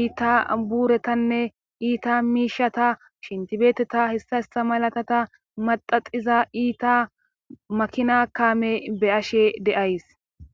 iita buuretanne iita miishata shentibeteta hessa ista malatata maxaxiza iita makina kaame be ashe deays.